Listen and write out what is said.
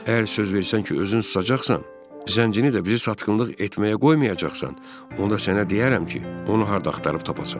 Əgər söz versən ki, özün susacaqsan, zəncini də bizi satqınlıq etməyə qoymayacaqsan, onda sənə deyərəm ki, onu harda axtarıb tapasan.